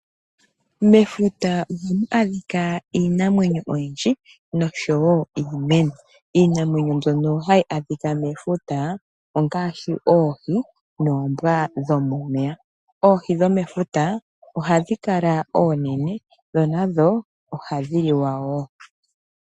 Mefuta ohamu adhika iinamwenyo oyindji nosho wo iimeno. Iinamwenyo mbyono hayi adhika mefuta ongaashi oohi noombwa dhomomeya. Oohi dhomefuta ohadhi kala oonene ndho ohadhi liwa.